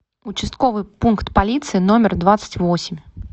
участковый пункт полиции номер двадцать восемь